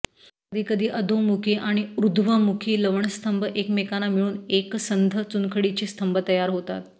कधीकधी अधोमुखी आणि ऊर्ध्वमुखी लवणस्तंभ एकमेकांना मिळून एकसंध चुनखडीचे स्तंभ तयार होतात